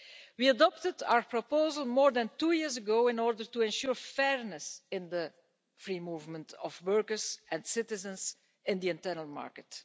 We adopted our proposal more than two years ago in order to ensure fairness in the free movement of workers and citizens in the internal market.